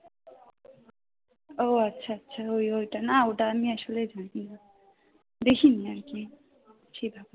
ও আচ্ছা আচ্ছা ওই ওটা না ওটা আসলে আমি জানিনা দেখি নি আর কি। ছিলাম